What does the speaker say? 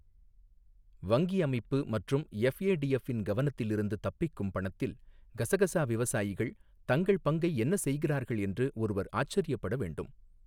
வங்கி அமைப்பு மற்றும் எஃப்ஏடிஎஃப் இன் கவனத்தில் இருந்து தப்பிக்கும் பணத்தில் கசகசா விவசாயிகள் தங்கள் பங்கை என்ன செய்கிறார்கள் என்று ஒருவர் ஆச்சிரியப்பட வேண்டும்.